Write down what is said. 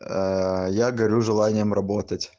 аа я горю желанием работать